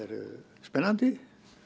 spennandi